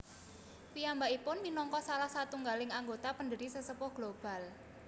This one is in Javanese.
Piyambakipun minangka salah satunggaling anggota pendiri Sesepuh Global